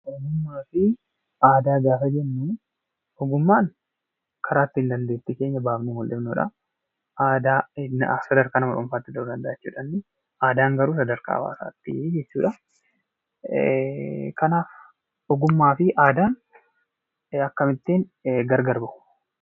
Ogummaa fi aadaa gaafa jennu, ogummaan karaa ittiin dandeettii keenya baafnee mul'ifnuu dha. Sadarkaa nama dhuunfaatti ta'uu danda'a jechuu dha inni. Aadaan garuu sadarkaa hawaasaatti jechuu dha. Kanaaf, ogummaa fi aadaan akkamittiin gargar ba'u?